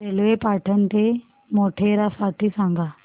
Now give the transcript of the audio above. railway Patan ते मोढेरा साठी सांगा